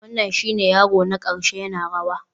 Wannan shine yaro na ƙarshe yana rawa?